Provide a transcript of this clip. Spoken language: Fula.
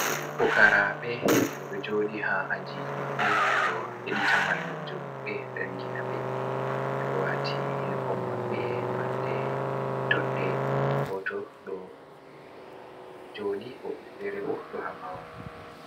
Pukaraɓe, ɓeɗo joɗi ha ajiji maɓɓe, ɓeɗo heɗita mallumjo maɓɓe jangina ɓe, ɓeɗo wati yinfom maɓɓe nolde doɗɗe goto ɗo joɗi, woɓɓe fere bo ɗo habawo.